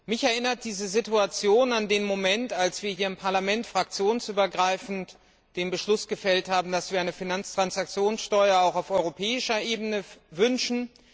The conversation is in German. Mich erinnert diese Situation an den Moment, als wir hier im Parlament fraktionsübergreifend den Beschluss gefasst haben, dass wir eine Finanztransaktionssteuer auch auf europäischer Ebene wünschen.